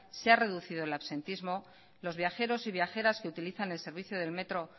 se ha reducido el absentismo los viajeros y viajeras que utilizan el servicio del metro